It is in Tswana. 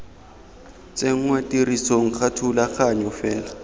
tsenngwa tirisong ga thulaganyo fela